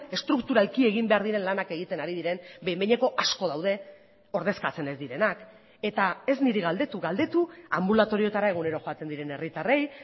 estrukturalki egin behar diren lanak egiten ari diren behin behineko asko daude ordezkatzen ez direnak eta ez niri galdetu galdetu anbulatorioetara egunero joaten diren herritarrei